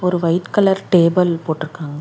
ஒரு white colour table போட்ருக்காங்க.